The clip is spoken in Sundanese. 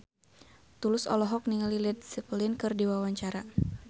Tulus olohok ningali Led Zeppelin keur diwawancara